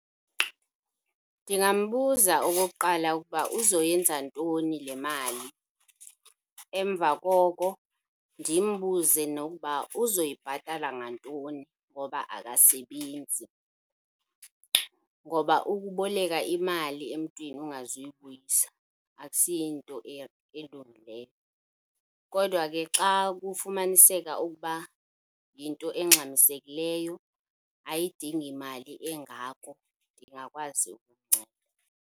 Ndingambuza okokuqala ukuba uzoyenza ntoni le mali, emva koko ndimbuze nokuba uzoyibhatala ngantoni ngoba akasebenzi. Ngoba ukuboleka imali emntwini ungazuyibuyisa akusiyinto elungileyo, kodwa ke xa kufumaniseka ukuba yinto engxamisekileyo ayidingi mali engako ndingakwazi ukumnceda.